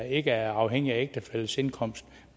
ikke er afhængigt af ægtefællens indkomst